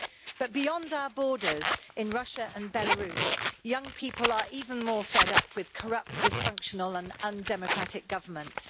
But beyond our borders, in Russia and Belarus, young people are even more fed up with corrupt, dysfunctional and undemocratic governments.